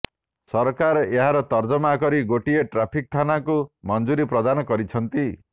ସରକାର ଏହାର ତର୍ଜମା କରି ଗୋଟିଏ ଟ୍ରାଫିକ ଥାନାକୁ ମଞ୍ଜୁରି ପ୍ରଦାନ କରିଛନ୍ତି